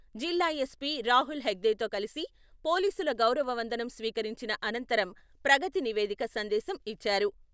జిల్లా ఎస్పీ రాహుల్ హేగ్దేతో కలిసి పోలీసులు గౌరవ వందనం స్వీకరించిన అనంతరం ప్రగతి నివేదిక సందేశం ఇచ్చారు.